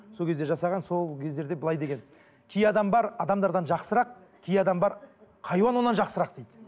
сол кезде жасаған сол кездерде былай деген кей адам бар адамдардан жақырсақ кей адам бар хайуан одан жақсырақ дейді